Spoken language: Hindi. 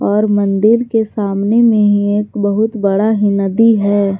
और मंदिल के सामने में ही एक बहुत बड़ा ही नदी है।